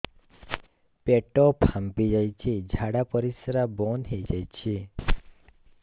ପେଟ ଫାମ୍ପି ଯାଇଛି ଝାଡ଼ା ପରିସ୍ରା ବନ୍ଦ ହେଇଯାଇଛି